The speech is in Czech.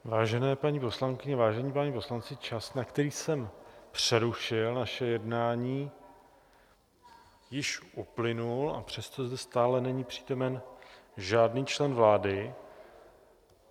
Vážené paní poslankyně, vážení páni poslanci, čas, na který jsem přerušil naše jednání, již uplynul, a přesto zde stále není přítomen žádný člen vlády.